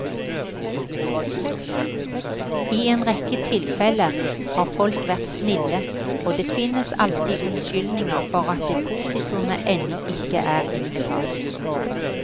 I en rekke tilfelle har folk vært snille, og det finnes alltid unnskyldninger for at depositumet ennå ikke er innbetalt.